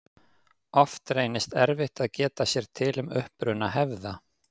Oft reynist erfitt að geta sér til um uppruna hefða.